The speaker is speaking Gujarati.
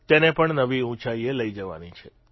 તેને પણ નવી ઉંચાઇએ લઇ જવાની છે